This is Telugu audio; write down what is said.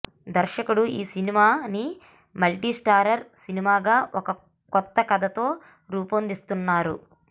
దర్శకుడు ఈ సినిమా ని మల్టీ స్టారర్ సినిమా గా ఒక కొత్త కథ తో రూపొందిస్తున్నారు